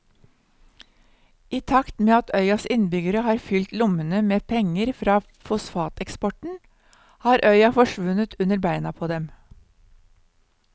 I takt med at øyas innbyggere har fylt lommene med penger fra fosfateksporten har øya forsvunnet under beina på dem.